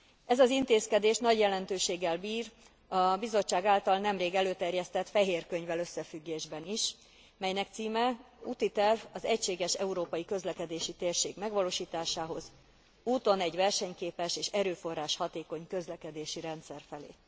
Ez az intézkedés nagy jelentőséggel bír a Bizottság által nemrég előterjesztett fehér könyvvel összefüggésben is, melynek címe Útiterv az egységes európai közlekedési térség megvalósításához, úton egy versenyképes és erőforrás hatékony közlekedési rendszer felé.